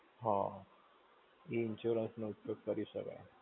હા. એ insurance નો ઉપયોગ કરી શકાય.